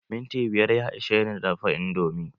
Minti biyar ya ishe ni dafa indomi.